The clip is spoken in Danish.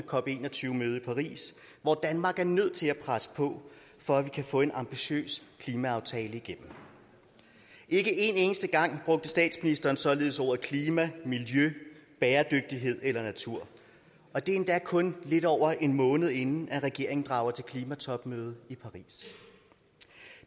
cop21 møde i paris hvor danmark er nødt til at presse på for at få en ambitiøs klimaaftale igennem ikke én eneste gang brugte statsministeren således ordene klima miljø bæredygtighed eller natur og det endda kun lidt over en måned inden regeringen drager til klimatopmøde i paris